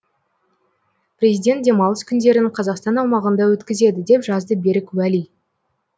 президент демалыс күндерін қазақстан аумағында өткізеді деп жазды берік уәли